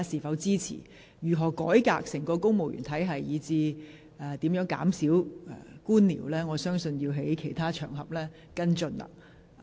對於如何改革整個公務員體系，以至如何減少官僚程序，議員可在其他場合跟進。